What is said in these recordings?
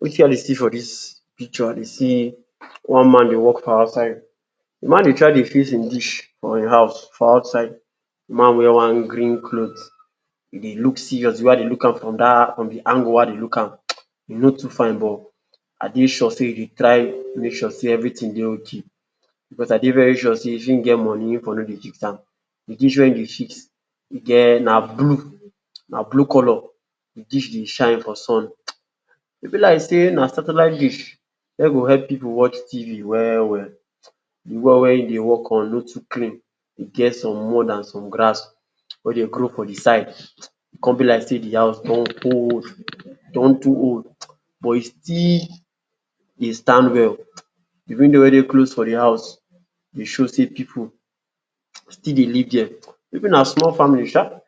Wetin I dey see for dis picture, I dey see one man dey walk for outside. De man dey try dey fix im dish for im house for outside. De man wear one green cloth. E dey look serious. De way I dey look am from dat, from de angle wey I dey look am, e no too fine, but I dey sure sey e dey try make sure sey everytin dey okay. Because, I dey very sure sey if im get moni, e for no dey fix am. De dish wey e dey fix e get na blue, na blue colour. De dish dey shine for sun um. E be like sey na satellite dish wey go epp pipu watch TV well well. De well wey e dey work on no too clean. E get some mud and some grass wey dey grow for de side. E con be like sey de house don old well well. E don too old um, but e still e stand well. De window wey dey close to de house dey show sey pipu still dey live there. Maybe na small family sha.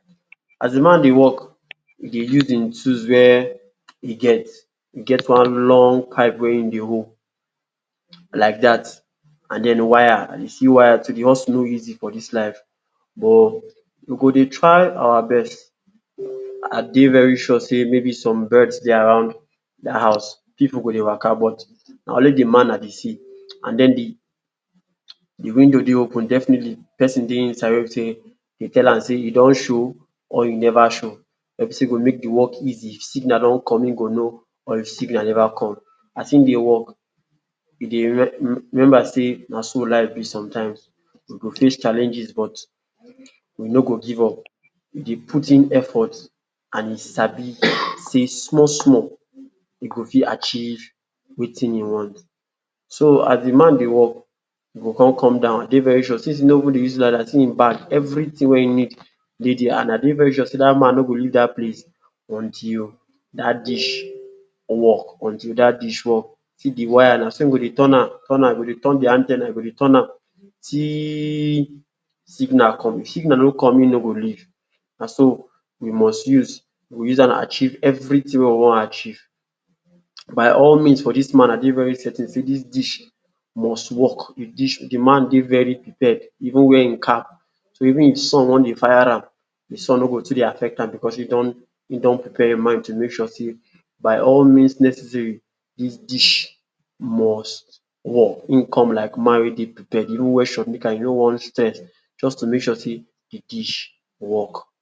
As de man dey work, e dey use im tools wey e get. E get one long pipe wey im dey hold like dat, and den wire, I dey see wire. To dey hustle no easy for dis life, but we go dey try our best. I dey very sure sey maybe some birds dey around dat house. Pipu go dey wa?ka?, but na only de man I dey see. And den de um de window open, definitely, pesin dey inside wey be sey dey tell am say e don show or e never show, wey be sey e go make de work easy if de signal don come im go know, or if signal never come. As e dey work, e dey remember sey na so life be sometimes. You go face challenges, but you no go give up. You dey put in effort. And e sabi sey small small, e go fit achieve wetin im want. So, as de man dey work, e go con come down. I dey very sure since e no dey use ladder see im bag, I dey very sure sey dat man no go leave dat place until dat dish work, until dat dish work. See de wire, na so im go dey turn am turn am. E go dey turn de an ten na, e go dey turn am till signal come. If signal no come, im no go leave. Na so, we must use, we go use am achieve everytin wey we wan achieve. By all means, for dis man, I dey very certain sey dis dish, e must work. De man dey very prepared. E even wear im cap, even if de sun wan fire am, de sun no go too affect am, because e don prepare im mind to make sure sey by all means necessary, dis dish must work. Im come like man wey dey prepared. E even wear shortknicker, e wear one shirt, just to make sure sey de dish work.